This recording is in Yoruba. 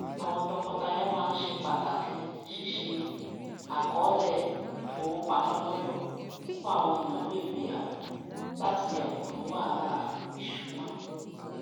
àwọn tọkọtaya máa ń ṣe pàtàkì ṣíṣe àkọọlẹ ifowopamọ lọtọ fún àwọn ìnáwó ìgbéyàwó láti yàgò fún wahalà ìṣúná